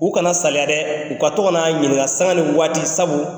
U kana saliya dɛ u ka to ka n'an ɲininka sanŋa ni waati sabu